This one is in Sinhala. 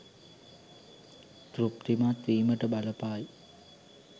තෘප්තිමත් වීමට බලපායි.